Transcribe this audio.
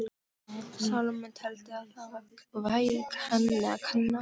Salóme teldi að það væri henni að kenna.